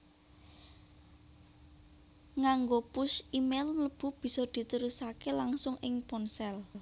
Nganggo push e mail mlebu bisa diterusaké langsung ing ponsel